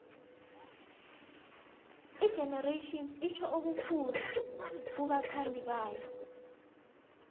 igenerations itjho okukhulu kubathandibayo